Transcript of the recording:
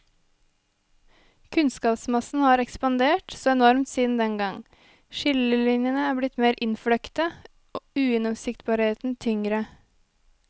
Kunnskapsmassen har ekspandert så enormt siden dengang, skillelinjene er blitt mer innfløkte, ugjennomsiktbarheten tyngre.